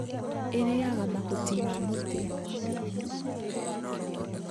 ĩrĩaga mahuti ma mũtĩ